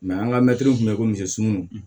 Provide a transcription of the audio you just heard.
an ka mɛtiriw tun bɛ komisɛ sumuw